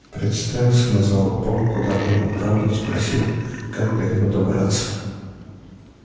представился назвал полк куда был направлен спросил как до него добраться